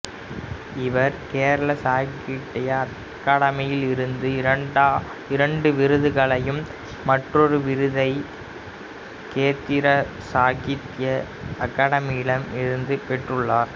இவர் கேரள சாகித்ய அகாதமியிடமிருந்து இரண்டு விருதுகளையும் மற்றொரு விருதை கேந்திரா சாகித்ய அகாதமியிடமிருந்தும் பெற்றுள்ளார்